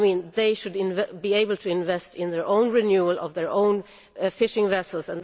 They should be able to invest in their own renewal of their own fishing vessels.